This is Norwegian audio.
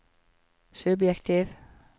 subjektiv